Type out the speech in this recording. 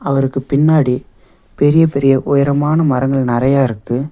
அவருக்கு பின்னாடி பெரிய பெரிய உயரமான மரங்கள் நெறைய இருக்கு.